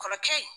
Kɔrɔkɛ in